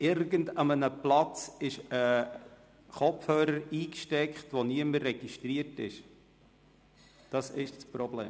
Auf irgendeinem Platz ist ein Kopfhörer eingesteckt, wo niemand registriert ist, das ist das Problem.